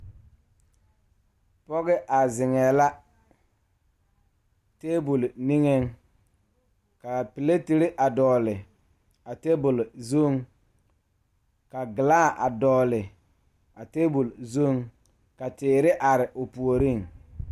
Pɔgeba a zage table zu la kaa dɔɔ kaŋa a are a su kpare pelaa kaa Yiri a die dankyini are kaa kolbaare a dɔgle tabol zu.